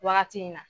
Wagati in na